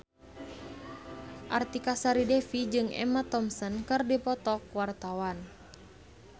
Artika Sari Devi jeung Emma Thompson keur dipoto ku wartawan